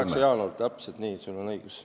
Just, see on 28. jaanuar, täpselt nii, sul on õigus.